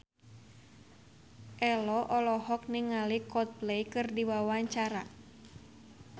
Ello olohok ningali Coldplay keur diwawancara